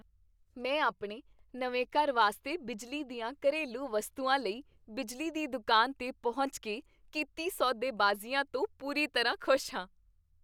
ਮੈਂ ਆਪਣੇ ਨਵੇਂ ਘਰ ਵਾਸਤੇ ਬਿਜਲੀ ਦੀਆਂ ਘਰੇਲੂ ਵਸਤੂਆਂ ਲਈ ਬਿਜਲੀ ਦੀ ਦੁਕਾਨ 'ਤੇ ਪਹੁੰਚ ਕੇ ਕੀਤੀ ਸੌ ਦੇਬਾਜ਼ੀ ਤੋਂ ਪੂਰੀ ਤਰ੍ਹਾਂ ਖੁਸ਼ ਹਾਂ।